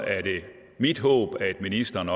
mit håb at ministeren